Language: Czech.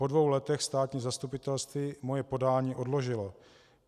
Po dvou letech státní zastupitelství moje podání odložilo.